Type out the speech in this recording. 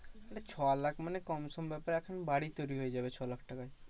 মানে ছলাখ মানে কম সোম ব্যাপার এখন বাড়ি তৈরী হয়ে যাবে ছলাখ টাকায়।